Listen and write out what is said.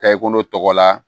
Taa i kɔnɔ la